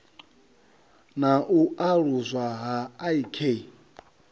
na u aluswa ha ik